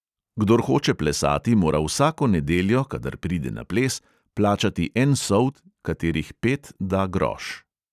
Kdor hoče plesati, mora vsako nedeljo, kadar pride na ples, plačati en sold, katerih pet da groš.